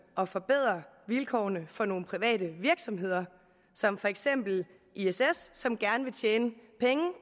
at forbedre vilkårene for nogle private virksomheder som for eksempel iss som gerne vil tjene penge